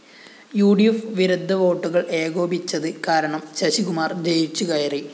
ഉ D F വിരുദ്ധ വോട്ടുകള്‍ ഏകോപിച്ചത് കാരണം ശശികുമാര്‍ ജയിച്ചുകയറി